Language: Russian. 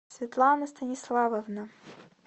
светлана станиславовна